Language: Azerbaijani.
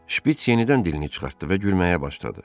Şpiç yenidən dilini çıxartdı və gülməyə başladı.